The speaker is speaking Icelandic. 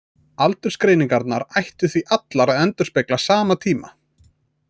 Aldursgreiningarnar ættu því allar að endurspegla sama tíma.